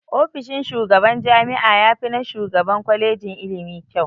Ofishin shugaban jami'a yafi na shugaban kwalejin ilimi kyau.